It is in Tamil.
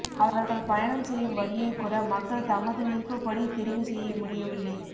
அவர்கள் பயணம் செய்யும் வழியைக்கூட மக்கள் தமது விருப்பப்படி தெரிவு செய்ய முடியவில்லை